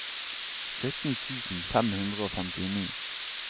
sytten tusen fem hundre og femtini